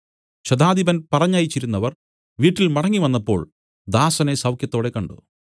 ശതാധിപൻ പറഞ്ഞയച്ചിരുന്നവർ വീട്ടിൽ മടങ്ങിവന്നപ്പോൾ ദാസനെ സൌഖ്യത്തോടെ കണ്ട്